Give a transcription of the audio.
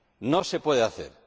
No se puede hacer.